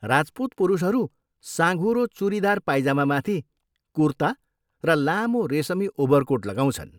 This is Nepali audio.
राजपुत पुरुषहरू साँघुरो चुरिदार पाइजामामाथि कुर्ता र लामो रेसमी ओभरकोट लगाउँछन्।